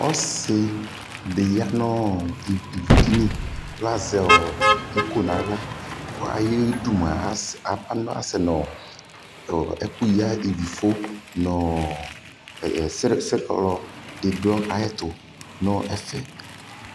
Ɔsidi ya nɔɔ ivudini kaʒɛ iko naɣla Asɛ nɔiku ya ivifu nɔɔɔ srɛɔlɔ di du ayɛtu